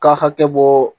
Ka hakɛ bɔ